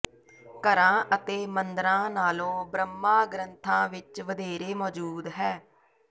ਘਰਾਂ ਅਤੇ ਮੰਦਰਾਂ ਨਾਲੋਂ ਬ੍ਰਹਮਾ ਗ੍ਰੰਥਾਂ ਵਿਚ ਵਧੇਰੇ ਮੌਜੂਦ ਹੈ